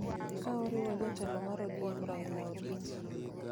ka oriwo jatelo mar ODM Raila Odinga.